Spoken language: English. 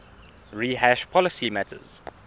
rehash policy matters